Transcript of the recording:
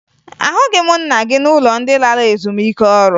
Ahụghị m nna gị n'ụlọ ndị lara ezumike ọrụ